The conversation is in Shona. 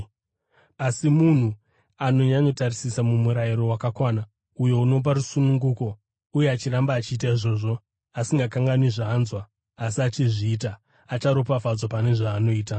Asi munhu anonyatsotarisa mumurayiro wakakwana uyo unopa rusununguko, uye achiramba achiita izvozvo, asingakanganwi zvaanzwa, asi achizviita, acharopafadzwa pane zvaanoita.